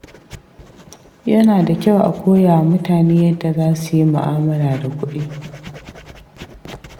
Yana da kyau a koya wa mutane yadda za su yi mu'amala da kuɗi.